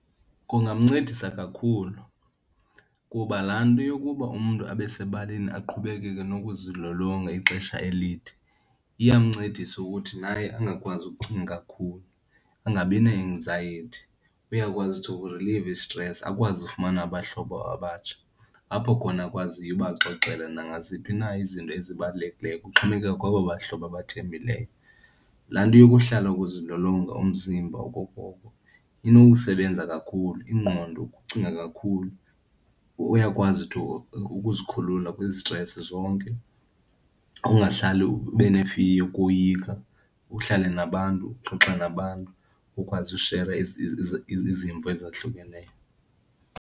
Kungamncedisa kakhulu kuba laa nto yokuba umntu abe sebaleni aqhubekeke nokuzilolonga ixesha elide iyamncedisa ukuthi naye angakwazi ukucinga kakhulu, angabi ne-axiety. Uyakwazi to uku-relieve isitresi akwazi ufumana abahlobo abatsha apho khona akwaziyo ubaxoxela nangaziphi na izinto ezibalulekileyo, kuxhomekeka kwabo bahlobo abathembileyo. Laa nto yokuhlala ukuzilolonga umzimba okokoko inokusebenza kakhulu ingqondo, ukucinga kakhulu, uyakwazi to ukuzikhulula kwizisitresi zonke, ungahlali ube ne-fear, ukoyika. Uhlale nabantu, uxoxe nabantu, ukwazi ushera izimvo ezahlukeneyo.